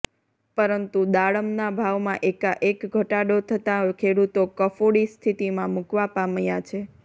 પરંતુ દાડમના ભાવમાં એકાએક ઘટાડો થતાં ખેડૂતો કફોડી સ્થિતીમાં મુકાવા પામ્યા છે